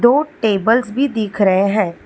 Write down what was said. दो टेबल्स भी दिख रहे हैं।